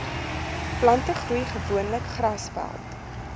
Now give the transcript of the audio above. plantegroei gewoonlik grasveld